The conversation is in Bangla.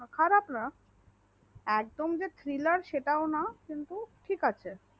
খারাপ না একদম যে সেটাও না ঠিক আছে